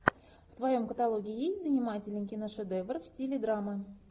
в твоем каталоге есть занимательный киношедевр в стиле драма